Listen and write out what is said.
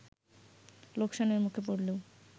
লোকসানের মুখে পড়লেও